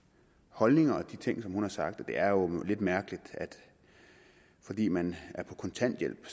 holdninger og er de ting som hun har sagt det er jo lidt mærkeligt at fordi man er på kontanthjælp